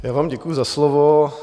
Já vám děkuji za slovo.